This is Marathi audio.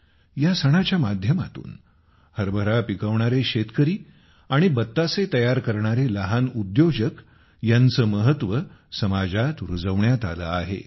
या सणाच्या माध्यमातून हरभरा पिकवणारे शेतकरी आणि बत्तासे तयार करणारे लहान उद्योजक यांचे महत्त्व समाजात रुजवण्यात आलेआहे